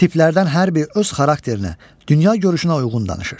Tiplərdən hər biri öz xarakterinə, dünya görüşünə uyğun danışır.